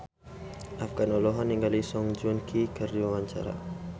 Afgan olohok ningali Song Joong Ki keur diwawancara